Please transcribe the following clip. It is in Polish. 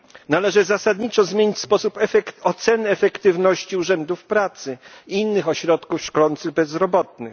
Należy zasadniczo zmienić sposób oceny efektywności urzędów pracy i innych ośrodków szkolących bezrobotnych.